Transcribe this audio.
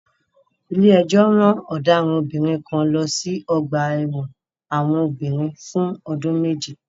Ilé-ẹjọ́ ran ọ̀daràn obìnrin kan lọ sí ọgbà-ẹ̀wọn àwọn obìnrin fún ọdún méje.